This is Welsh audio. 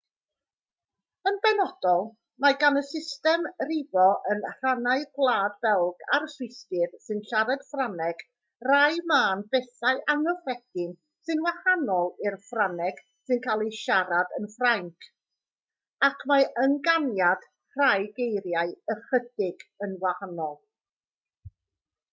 yn benodol mae gan y system rifo yn rhannau gwlad belg a'r swistir sy'n siarad ffrangeg rai mân bethau anghyffredin sy'n wahanol i'r ffrangeg sy'n cael ei siarad yn ffrainc ac mae ynganiad rhai geiriau ychydig yn wahanol